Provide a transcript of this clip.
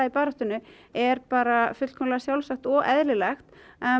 í baráttunni er bara fullkomlega sjálfsagt og eðlilegt